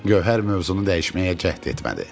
Gövhər mövzunu dəyişməyə cəhd etmədi.